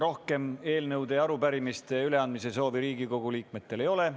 Rohkem eelnõude ja arupärimiste üleandmise soovi ei ole.